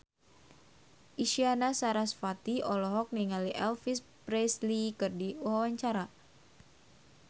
Isyana Sarasvati olohok ningali Elvis Presley keur diwawancara